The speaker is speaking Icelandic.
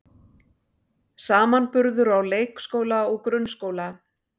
Samanburður á leikskóla og grunnskóla